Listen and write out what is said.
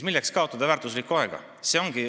Milleks siis kaotada väärtuslikku aega?